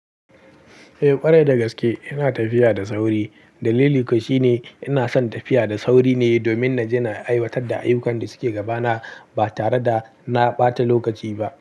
Eh ƙwarai dagaske ina tafiya da sauri. Dalili kuwa shine ina son tafiya da sauri ne domin na ji na aiwatar da ayyukan da suke gaba na ba tare da na ɓata lokaci ba.